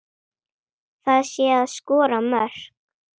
Það sé að skora mörk.